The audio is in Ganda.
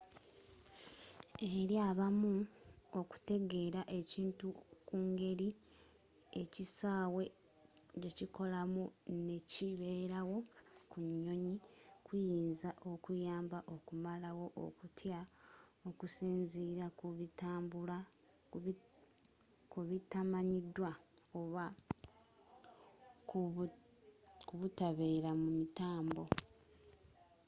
eri abamu okutegeera ekintu kungeri ekisaawe jekikolamu nekibeerawo ku nyonyi kiyinza okuyamba okumalawo okutya okusinziira kubitamanyidwa oba kubutabeera mumitambo